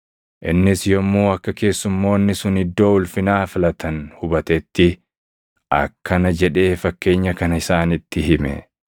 Innis yommuu akka keessumoonni sun iddoo ulfinaa filatan hubatetti akkana jedhee fakkeenya kana isaanitti hime;